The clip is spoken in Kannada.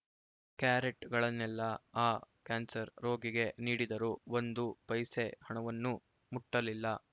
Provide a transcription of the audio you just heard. ಕ್ಯಾರೆಟ್‌ಗಳನ್ನೆಲ್ಲ ಆ ಕ್ಯಾನ್ಸರ್‌ ರೋಗಿಗೆ ನೀಡಿದರು ಒಂದು ಪೈಸೆ ಹಣವನ್ನೂ ಮುಟ್ಟಲಿಲ್ಲ